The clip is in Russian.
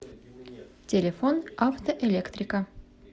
телефон автоэлектрика